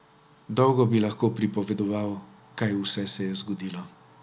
Dolgo bi lahko pripovedoval, kaj vse se je zgodilo.